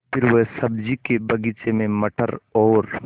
फिर वह सब्ज़ी के बगीचे में मटर और